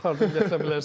Ardını kəsə bilərsən.